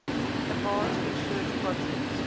advanced research projects